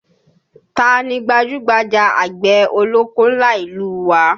Táa ni gbajúgbajà àgbẹ̀ ọlọ́kọ́ ńlá ìlú u wa?